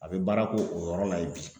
A bɛ baara k'o o yɔrɔ la ye bi.